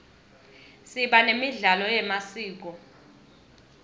siba nemidlalo yemasiko